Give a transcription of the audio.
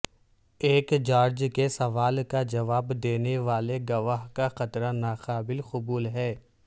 ایک جارج کے سوال کا جواب دینے والے گواہ کا خطرہ ناقابل قبول ہے